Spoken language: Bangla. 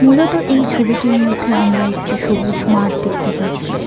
মূলত এই ছবিটির মধ্যে আমরা একটি সবুজ মাঠ দেখতে পারছি।